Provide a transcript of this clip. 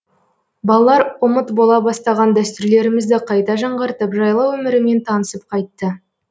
балалар ұмыт бола бастаған дәстүрлерімізді қайта жаңғыртып жайлау өмірімен танысып қайтты